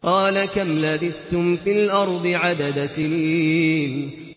قَالَ كَمْ لَبِثْتُمْ فِي الْأَرْضِ عَدَدَ سِنِينَ